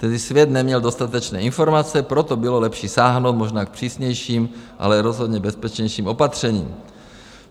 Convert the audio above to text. Tehdy svět neměl dostatečné informace, proto bylo lepší sáhnout možná k přísnějším, ale rozhodně bezpečnějším opatřením.